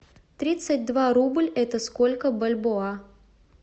тридцать два рубль это сколько бальбоа